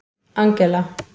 Angela